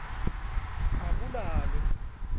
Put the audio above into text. akulalwe